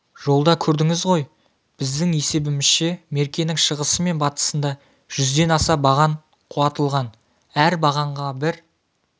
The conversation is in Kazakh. жолда көрдіңіз ғой біздің есебімізше меркенің шығысы мен батысында жүзден аса баған құлатылған әр бағанға бір